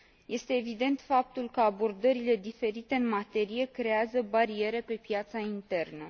Este evident faptul că abordările diferite în materie crează bariere pe piața internă.